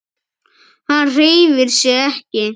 Hann hreyfir sig ekki.